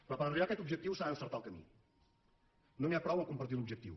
però per arribar a aquest objectiu s’ha d’encertar el camí no n’hi ha prou a compartir l’objectiu